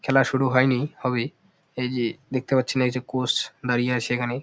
খেলা শুরু হয়নি হবে। এইযে দেখতে পারছেন এই যে কোচ দাঁড়িয়ে আছে এখানে ।